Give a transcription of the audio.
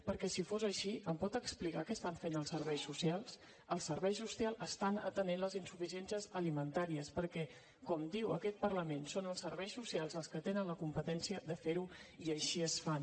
perquè si fos així em pot explicar què fan els serveis socials el serveis socials atenen les insuficiències alimentàries perquè com diu aquest parlament són els serveis socials els que tenen la competència per ferho i així ho fan